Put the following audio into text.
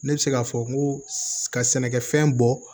Ne bɛ se k'a fɔ n ko ka sɛnɛkɛfɛn bɔ